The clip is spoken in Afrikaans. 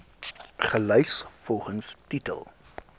gelys volgens titel